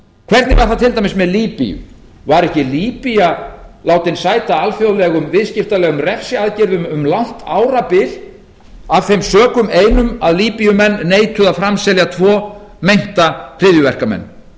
hvernig var það til dæmis með líbía var ekki líbía látin sæta alþjóðlegum viðskiptalegum refsiaðgerðum um langt árabil af þeim sökum einum að líbíumenn neituðu að framselja tvo meinta hryðjuverkamenn